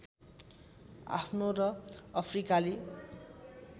आफ्नो र अफ्रिकाली